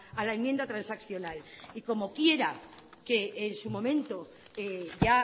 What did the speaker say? a la enmienda transaccional y como quiera que en su momento ya